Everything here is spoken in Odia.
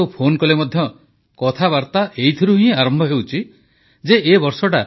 ଏବେ ଯେଉଁ ବିଶ୍ୱବ୍ୟାପୀ ମହାମାରୀ ଆସିଛି ମାନବ ଜାତି ପାଇଁ ଯେଉଁ ସଙ୍କଟ ସୃଷ୍ଟି ହୋଇଛି ତାଉପରେ କିଛି ଅଧିକ ଆଲୋଚନା ହୋଇଥିବା ସ୍ୱାଭାବିକ